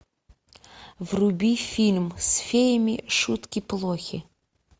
вруби фильм с феями шутки плохи